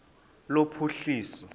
lophuhliso